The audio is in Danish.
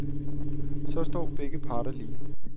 Så står begge parter lige.